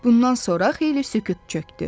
Bundan sonra xeyli sükut çökdü.